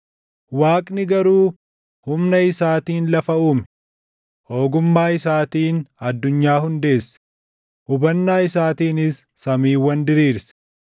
Waaqni garuu humna isaatiin lafa uume; ogummaa isaatiin addunyaa hundeesse; hubannaa isaatiinis samiiwwan diriirse.